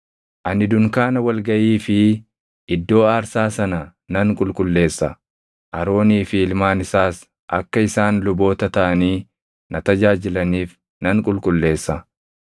“Ani dunkaana wal gaʼii fi iddoo aarsaa sana nan qulqulleessa; Aroonii fi ilmaan isaas akka isaan luboota taʼanii na tajaajilaniif nan qulqulleessa.